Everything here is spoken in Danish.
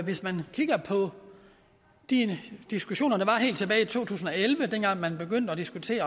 hvis man kigger på de diskussioner der var helt tilbage i to tusind og elleve dengang man begyndte at diskutere i